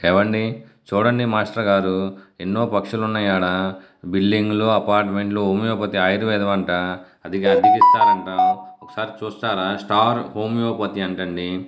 ఏవండీ చూడండి మాస్టర్ గారు ఎన్నో పక్షులు ఉన్నాయి.ఆడా బిల్డింగ్ లు అపార్ట్మెంట్ హోమియోపతి ఆయుర్వేదాం అంటే అది అద్దికిస్తారంట. ఒకసారి చూస్తారా స్టార్ హోమియోపతి అంటా.